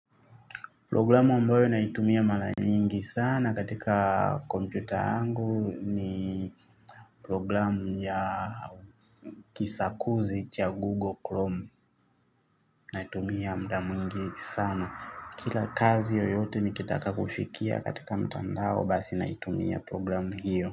Programu ambayo naitumia mara nyingi sana katika kompyuta yangu ni programu ya kisakuzi cha Google Chrome. Naitumia muda mwingi sana. Kila kazi yoyote nikitaka kuifikia katika mtandao basi naitumia programu hiyo.